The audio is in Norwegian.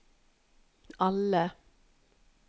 alle